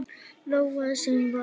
Lóa: Sem var?